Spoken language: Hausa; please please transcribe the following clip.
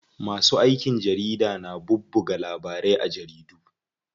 Masu aikin jarida na bubbuga labarai a jaridu.